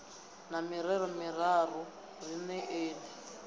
na mirero miraru ri neeni